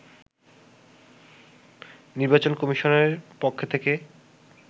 নির্বাচন কমিশনের পক্ষ থেকে